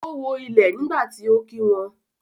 o wo ilé nígbàtí ọ kí wón.